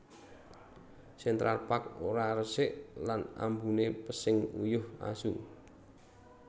Central Park ora resik lan ambune pesing uyuh asu